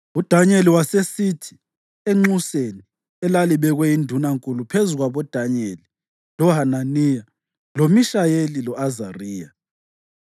UDanyeli wasesithi enxuseni elalibekwe yindunankulu phezu kwaboDanyeli, loHananiya, loMishayeli lo-Azariya,